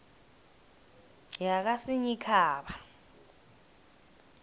yakasinyikhaba